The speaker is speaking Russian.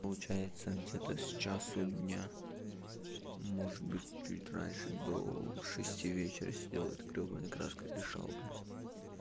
получается где-то с часу дня может быть чуть раньше до шести вечера я сидел этой грёбаной краской дышал блин